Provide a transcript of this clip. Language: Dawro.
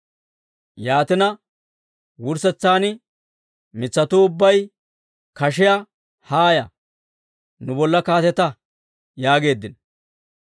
«Yaatina, wurssetsan mitsatuu ubbay kashiyaa, ‹Haaya, nu bolla kaatetta› yaageeddino.